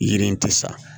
Yiri in tɛ sa